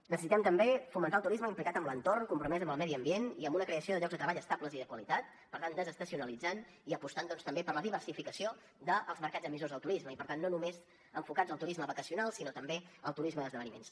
necessitem també fomentar el turisme implicat en l’entorn compromès amb el medi ambient i amb una creació de llocs de treball estables i de qualitat per tant que desestacionalitzi i que aposti doncs també per la diversificació dels mercats emissors del turisme i per tant no només enfocats al turisme vacacional sinó també al turisme d’esdeveniments